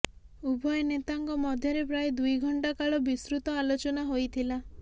ଉଭୟ ନେତାଙ୍କ ମଧ୍ୟରେ ପ୍ରାୟ ଦୁଇ ଘଣ୍ଟାକାଳ ବିସ୍ତୃତ ଆଲୋଚନା ହୋଇଥିଲା